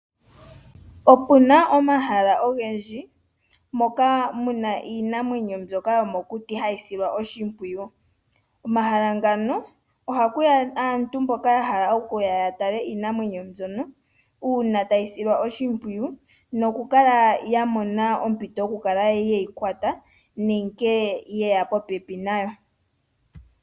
Otu na omahala ogendji moka hamu kala iinamwenyo yomokuti, nohayi kala nokusilwa oshimpwiyu. Komahala ngoka ohaku ya aatalelipo mboka ya hala okutala iinamwenyo nkene hayi silwa oshimpwiyu, oshowo okukala ya mona ompito yoku yi kwata nenge ye ya popepi nayo.